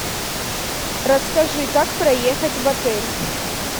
расскажи как проехать в отель